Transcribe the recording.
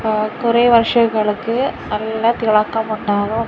ഏഹ് കുറെ വർഷങ്ങൾക്ക് നല്ല തിളക്കമുണ്ടാകും.